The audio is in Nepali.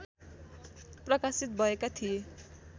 प्रकाशित भएका थिए